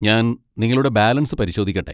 ഞാൻ നിങ്ങളുടെ ബാലൻസ് പരിശോധിക്കട്ടെ.